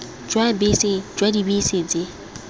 jwa bese jwa dibese tse